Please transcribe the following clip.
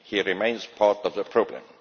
He remains part of the problem.